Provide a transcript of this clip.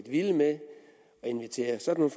vilde med at invitere sådan